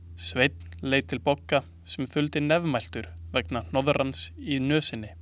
Sveinn leit til Bogga sem þuldi nefmæltur vegna hnoðrans í nösinni.